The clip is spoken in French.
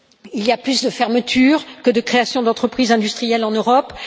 Il y a plus de fermetures que de créations d'entreprises industrielles en Europe.